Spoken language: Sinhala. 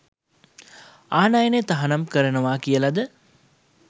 ආනයනය තහනම් කරනව කියලද